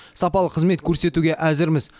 сапалы қызмет көрсетуге әзірміз